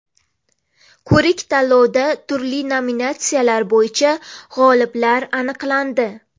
Ko‘rik-tanlovda turli nominatsiyalar bo‘yicha g‘oliblar aniqlandi.